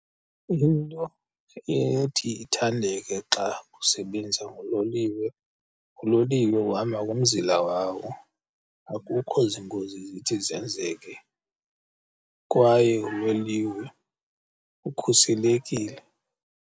Into ethi ithandeke xa usebenza ngololiwe, uloliwe uhamba ngomzila wawo, akukho ziingozi zithi zenzeke. Kwaye uloliwe ukhuselekile.